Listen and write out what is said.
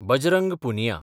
Bajrang Punia